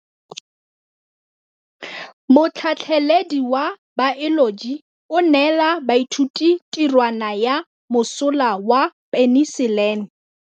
Motlhatlhaledi wa baeloji o neela baithuti tirwana ya mosola wa peniselene.